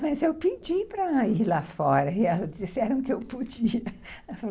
Mas eu pedi para ir lá fora, e elas disseram que eu podia.